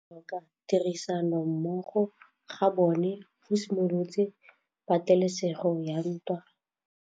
Go tlhoka tirsanommogo ga bone go simolotse patêlêsêgô ya ntwa.